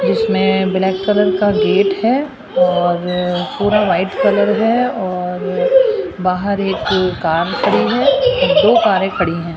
जिसमें black colour का gate है और पूरा वाइट कलर है और बाहर एक कार खड़ी है दो कारें खड़ी है